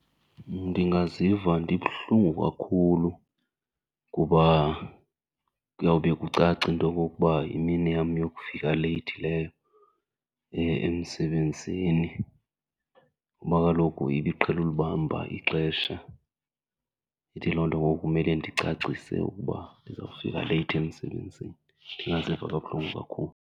Ndingaziva ndibuhlungu kakhulu kuba kuyawube kucaca into yokokuba yimini yam yokufika leyithi leyo emsebenzini kuba kaloku ibiqhele ulibamba ixesha. Ithi loo nto ngoku kumele ndicacise ukuba ndizawufika leyithi emsebenzini. Ndingaziva kabuhlungu kakhulu.